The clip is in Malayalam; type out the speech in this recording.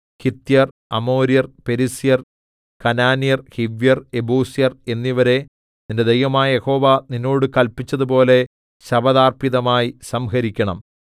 ഹിത്യർ അമോര്യർ പെരിസ്യർ കനാന്യർ ഹിവ്യർ യെബൂസ്യർ എന്നിവരെ നിന്റെ ദൈവമായ യഹോവ നിന്നോട് കല്പിച്ചതുപോലെ ശപഥാർപ്പിതമായി സംഹരിക്കണം